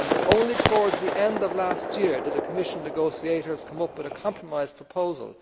Only towards the end of last year did the Commission negotiators come up with a compromise proposal.